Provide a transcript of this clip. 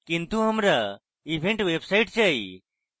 কিন্তু আমরা event website চাই